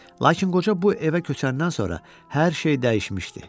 Lakin qoca bu evə köçəndən sonra hər şey dəyişmişdi.